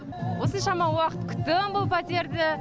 осыншама уақыт күттім бұл пәтерді